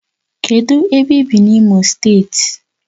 Kedu ebe i bi na Imo state?